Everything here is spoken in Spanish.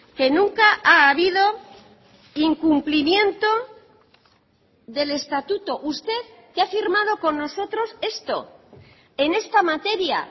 que nunca ha habido incumplimiento del estatuto usted que ha firmado con nosotros esto en esta materia